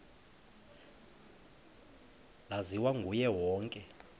laziwa nguye wonke